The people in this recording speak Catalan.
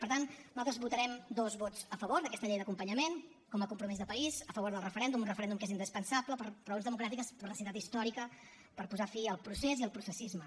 per tant nosaltres votarem dos vots a favor d’aquesta llei d’acompanyament com a compromís de país a favor del referèndum un referèndum que és indispensable per raons democràtiques per necessitat històrica per posar fi al procés i al processisme